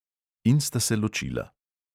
In sta se ločila.